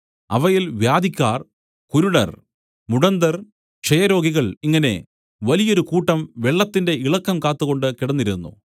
അവയിൽ വ്യാധിക്കാർ കുരുടർ മുടന്തർ ക്ഷയരോഗികൾ ഇങ്ങനെ വലിയൊരു കൂട്ടം വെള്ളത്തിന്റെ ഇളക്കം കാത്തുകൊണ്ട് കിടന്നിരുന്നു